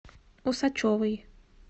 усачевой